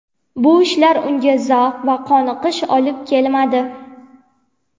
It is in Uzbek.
Bu ishlar unga zavq va qoniqish olib kelmadi.